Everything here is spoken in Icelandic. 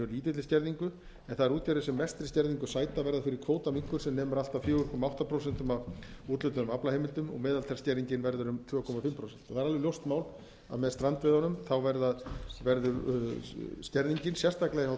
lítilli skerðingu en þær útgerðir sem mestri skerðingu sæta verða fyrir kvótaminnkun sem nemur allt að fjóra komma átta prósent af úthlutuðum aflaheimildum meðaltalsskerðingin verður um tvö og hálft prósent það er alveg ljóst mál að með strandveiðunum verður skerðingin sérstaklega hjá